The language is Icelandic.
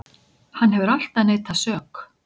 Hann hefur alltaf neitað sök